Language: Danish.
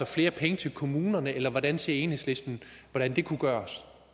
flere penge til kommunerne eller hvordan ser enhedslisten at det kunne gøres